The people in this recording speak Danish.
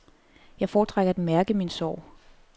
Jeg foretrækker at mærke min sorg.